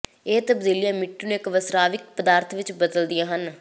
ਇਹ ਤਬਦੀਲੀਆਂ ਮਿੱਟੀ ਨੂੰ ਇਕ ਵਸਰਾਵਿਕ ਪਦਾਰਥ ਵਿਚ ਬਦਲਦੀਆਂ ਹਨ